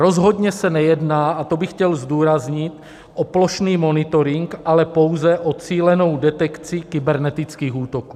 Rozhodně se nejedná, a to bych chtěl zdůraznit, o plošný monitoring, ale pouze o cílenou detekci kybernetických útoků.